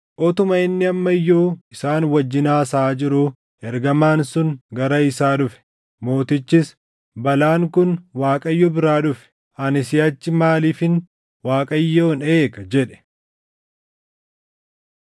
Utuma inni amma iyyuu isaan wajjin haasaʼaa jiruu, ergamaan sun gara isaa dhufe. Mootichis, “Balaan kun Waaqayyo biraa dhufe. Ani siʼachi maaliifin Waaqayyoon eega?” jedhe.